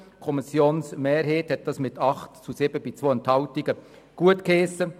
Die Kommissionsmehrheit hat dies mit 8 zu 7 Stimmen bei 2 Enthaltungen gutgeheissen.